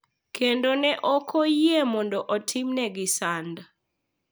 Kendo ne ok oyie mondo otimnegi sand.